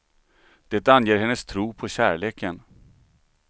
Det anger hennes tro på kärleken.